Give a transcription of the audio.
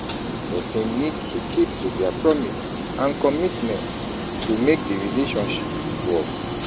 Person need to keep to their promise and commitment to make di relationship work